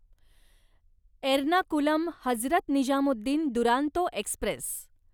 Ernakulam Hazrat Nizamuddin Duronto Express